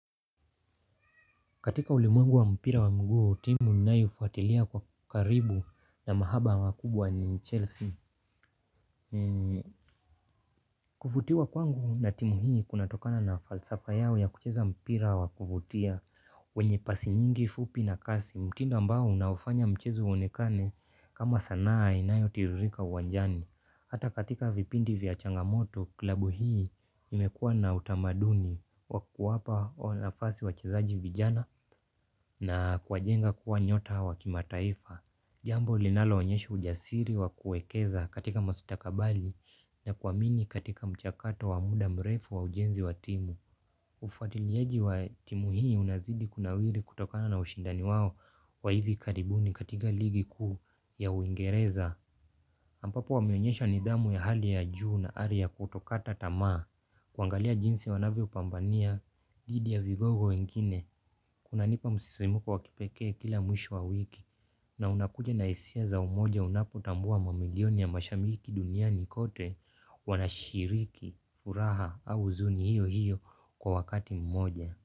Katika ulimwengu wa mpira wa mguu, timu ninayoifuatilia kwa karibu na mahaba makubwa ni Chelsea. Kuvutiwa kwangu na timu hii kunatokana na falsafa yao ya kucheza mpira wa kuvutia. Wenye pasi nyingi, fupi na kasi, mtindo ambao unaofanya mchezo uonekane kama sanaa inayo tiririka uwanjani. Hata katika vipindi vya changamoto klabu hii imekua na utamaduni wa kuwapa nafasi wachezaji vijana na kuwajenga kuwa nyota wa kimataifa. Jambo linalo onyesha ujasiri wa kuwekeza katika mastakabali na kuamini katika mchakato wa muda mrefu wa ujenzi wa timu. Ufuatiliaji wa timu hii unazidi kuna wiri kutokana na ushindani wao wa hivi karibuni katika ligi kuu ya uingereza. Ambapo wameonyesha nidhamu ya hali ya juu na hali ya kutokata tamaa. Kuangalia jinsi wanavyo pambania, dhidi ya vigogo wengine kuna nipa msisimuko wakipekee kila mwisho wa wiki. Na unakuja na hisia za umoja unapotambua mamilioni ya mashambiki duniani kote wanashiriki, furaha au uzuni hiyo hiyo kwa wakati mmoja.